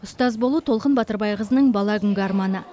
ұстаз болу толқын батырбайқызының бала күнгі арманы